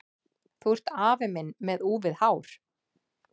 Þú ert afi minn með úfið hár!